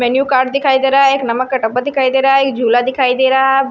Menu card दिखाई दे रहा है एक नमक का टब्बा दिखाई दे रहा है एक झूला दिखाई दे रहा है।